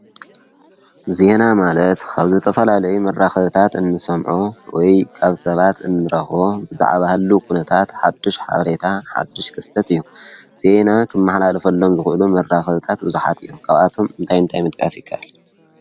ዜና ማለት ካብ ዝተፈላለዩ መራኽብታት እንሰምዖ ወይ ካብ ሰባት እንረቦ ብዛዕባ ህለው ዂነታት ሓድሽ ሓበሬታ ሓድሽ ክስተት እዩ፡፡ ዜና ኽመሓላለፈሎም ዝኽእሉ መራኽብታት ብዙሓት እዮም፡፡ ካብኣቶም እንታይ እንታይ ምጥቃስ ይካኣል?